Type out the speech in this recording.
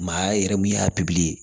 Maaya yɛrɛ min y'a